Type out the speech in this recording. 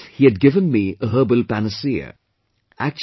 It was as if he had given me a herbal panacea